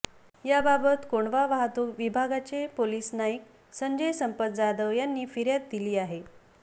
याबाबत कोंढवा वाहतूक विभागाचे पोलिस नाईक संजय संपत जाधव यांनी फिर्याद दिली आहे